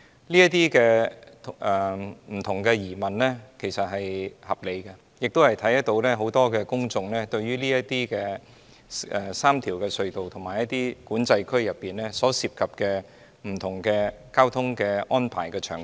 這些不同的疑問是合理的，亦看到很多市民關注這3條隧道，以及管制區裏所涉及的不同交通安排場景。